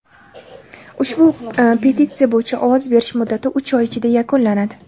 Ushbu petitsiya bo‘yicha ovoz berish muddati uch oy ichida yakunlanadi.